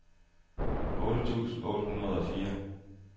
otte tusind otte hundrede og fire